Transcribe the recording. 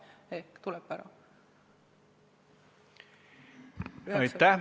Aitäh!